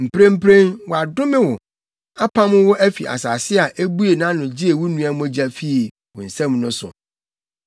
Mprempren, wɔadome wo, apam wo afi asase a ebuee nʼano gyee wo nua mogya fii wo nsam no so.